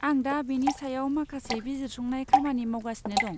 आं दा बेनि सायाव माखासे बिजिरसंनाय खामानि मावगासिनो दं।